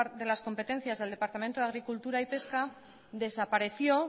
de las competencias del departamento de agricultura y pesca desapareció